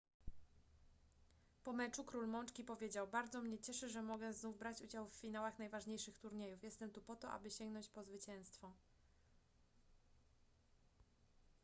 po meczu król mączki powiedział bardzo mnie cieszy że mogę znów brać udział w finałach najważniejszych turniejów jestem tu po to aby sięgnąć po zwycięstwo